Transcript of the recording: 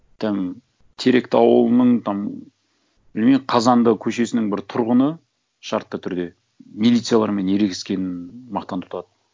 там теректі ауылының там білмеймін қазанды көшесінің бір тұрғыны шартты түрде милициялармен ерегескенін мақтан тұтады